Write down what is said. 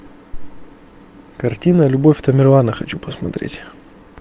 картина любовь тамерлана хочу посмотреть